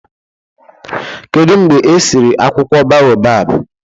Kedụ mgbe e siri akwụkwọ boabab?